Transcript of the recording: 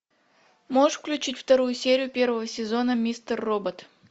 можешь включить вторую серию первого сезона мистер робот